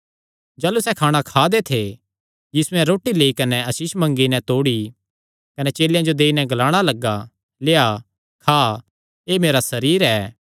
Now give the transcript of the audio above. जाह़लू सैह़ खाणा खा दे थे यीशुयैं रोटी लेई कने आसीष मंगी नैं तोड़ी कने चेलेयां जो देई नैं ग्लाणा लग्गा लेआ खा एह़ मेरा सरीर ऐ